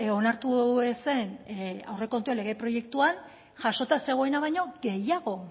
onartu ez zen aurrekontu lege proiektuan jasota zegoena baino gehiago